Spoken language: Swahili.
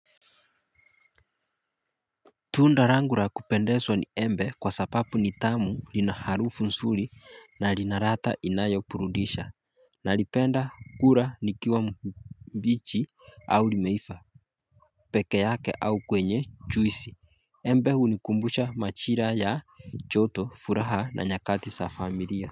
Tunda langu ya kupendeza ni embe kwa sababu ni tamu linaharufu nzuri na linaladha inayo burudisha nalipenda kula likiwa mbichi au limeiva peke yake au kwenye juisi Embe hunikumbusha majira ya joto furaha na nyakati za familia.